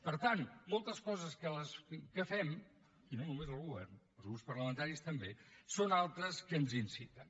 per tant moltes coses que fem i no només el govern els grups parlamentaris també són altres que ens hi inciten